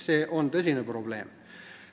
See on tõsine probleem.